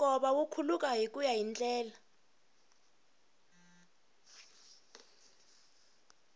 nkova wu khuluka hikuya hi ndlela